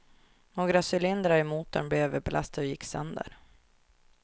Några cylindrar i motorn blev överbelastade och gick sönder.